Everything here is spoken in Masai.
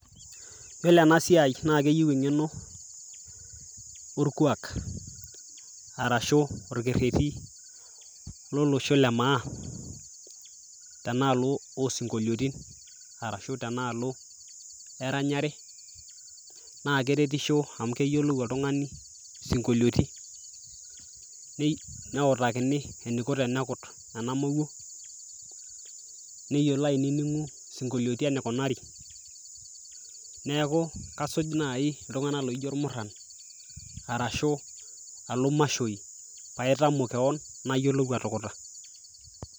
Yiolo enasiai na keyieu eng'eno, orkuak arashu orkerrerri lolosho le maa, tenaalo osinkolioitin, arashu tenaalo eranyare, na keretisho amu keyiolou oltung'ani sinkolioiti, neutakini eniko tenekut enamowuo, neyiolo ainining'u sinkolioiti enikunari. Neeku kasuj nai iltung'anak laijo irmurran, arashu alo mashoi, paitamok keon, nayiolou atukuta.